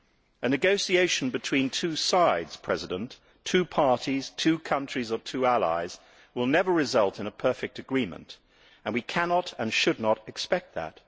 A negotiation between two sides, two parties, two countries or two allies will never result in a perfect agreement and we cannot, and should not, expect that.